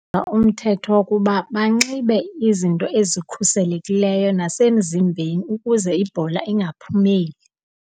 Umthetho wokuba banxibe izinto ezikhuselekileyo nasemzimbeni ukuze ibhola ingaphumeli.